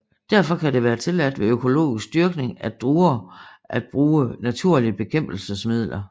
Derfor kan det være tilladt ved økologisk dyrkning af druer at bruge naturlige bekæmpelsesmidler